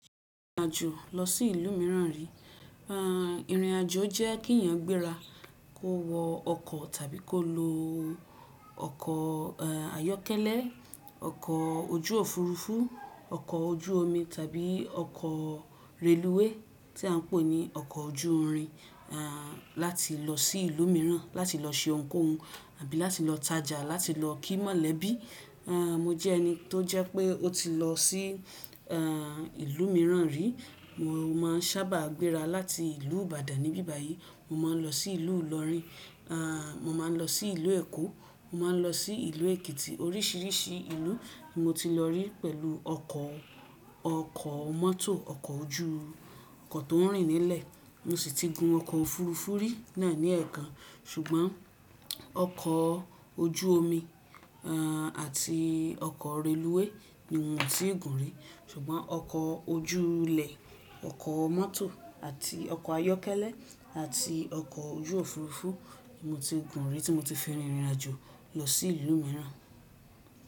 Ìrìnàjò lọ sí ìlú mìíràn ri. Irinajo jẹ́ kí èyàn gbéra kó wo ọkọ̀ tàbí kó lo ọkọ̀ ayọ́kẹ́lẹ́, ọkọ̀ ojú òfuurufú, ọkọ̀ ojú omi tàbí ọkọ̀ reluwé tí a ń pè ní ọkọ̀ ojú irin, láti lọ sí ìlú mìíràn, láti lọ ṣe ohunkóhun àbí láti lọ tajà, láti lọ kí mọ̀lẹ́bí. Mo jẹ́ ẹni tó jẹ́ pé ó ti lọ sí ìlú mìíràn rí. Mo máa ń sábà gbéra láti ìlú Ìbàdàn níbí báyìí. Mo máa ń lọ sí ìlú Ìlọrin, mo máa ń lọ sí ìlú Èkó, mo máa ń lọ sí ìlú Èkìtì. Oríṣiríṣi ìlú ni mo ti lọ rí pẹ̀lú ọkọ̀, ọkọ̀ mọ́tò, ọkọ̀ ojú, ọkọ̀ tó ń rìn nílẹ̀. Mo sì ti gun ọkọ̀ òfuurufú rí náà ní ẹ̀ẹ̀kan, ṣùgbọ́n ọkọ̀ ojú omi àti ọkọ̀ reluwé ni mio tii gùn rí. Ṣùgbọ́n ọkọ̀ ojú ilẹ, ọkọ̀ mọ́tò àti ọkọ̀ ayọ́kẹ́lẹ́ àti ọkọ̀ ojú òfuurufú ni mo ti gùn rí tí mo ti fi rin ìrìnàjò lọ sí ìlú mìíràn.